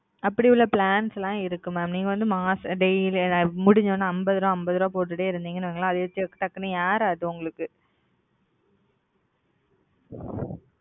அப்டிலா flannel இருக்கு நீங்க முடிஞ்சதும் அம்பதுரூபா அம்பதுரூபா போடுங்கன உங்களுக்கு ஏறாது mam okay இத முடிஞ்சதும் போட்டுகிற